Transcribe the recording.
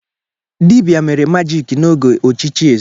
Dibia mere magiki n'oge ochichi eze.